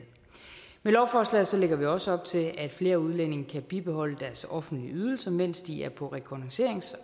med lovforslaget lægger vi også op til at flere udlændinge kan bibeholde deres offentlige ydelser mens de er på rekognosceringrejser